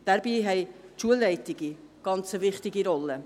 Dabei haben die Schulleitungen eine sehr wichtige Rolle.